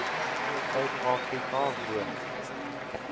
suid afrika woon